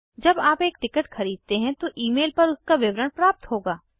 जब आप एक टिकट खरीदते हैं तो ईमेल पर उसका विवरण प्राप्त होगा